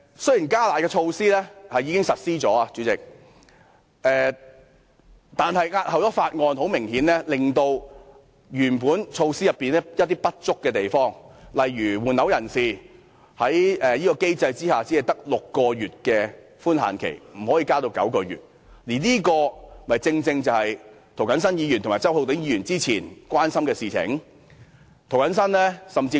雖然"加辣"的措施已經實施，代理主席，但延後審議《條例草案》，很明顯會令法案原先的一些不足之處無法適時解決，例如換樓人士在這機制下只有6個月的退稅寬限期，不可以延長至9個月，而這正正是涂謹申議員和周浩鼎議員早前最關注的事項。